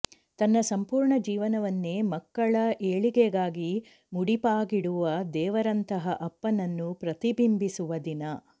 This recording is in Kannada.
ತನ್ನ ಸಂಪೂರ್ಣ ಜೀವನವನ್ನೇ ಮಕ್ಕಳ ಏಳಿಗೆಗಾಗಿ ಮುಡಿಪಾಗಿಡುವ ದೇವರಂತಹ ಅಪ್ಪನನ್ನು ಪ್ರತಿಬಿಂಬಿಸುವ ದಿನ